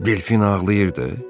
Delfin ağlayırdı?